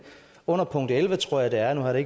under punkt elleve tror jeg det er nu har jeg